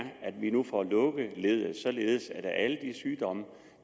at vi nu får lukket leddet således at alle de sygdomme